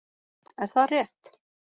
Er það rétt?